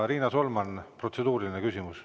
Riina Solman, protseduuriline küsimus.